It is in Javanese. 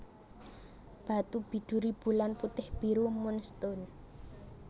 Batu biduri Bulan putih biru moon stone